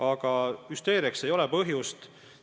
Aga hüsteeriaks ei ole põhjust.